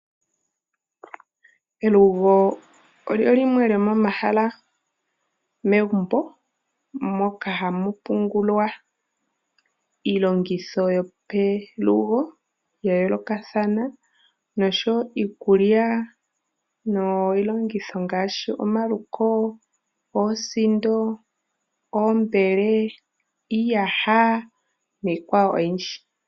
Elugo olyo limwe lyomomahala megumbo moka ha mu pungulwa iilongitho yo pelugo yayoolokathana nosho wo iikulya niilongitho ngaashi; omaluko, oosindo oombele, iiyaha niikwawo oyindji.